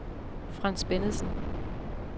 Frans Bennedsen